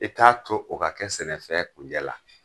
I t'a to o ka kɛ sɛnɛfɛn kunjɛ la.